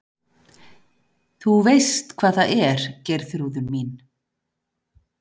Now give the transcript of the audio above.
Þú veist hvað það er Geirþrúður mín.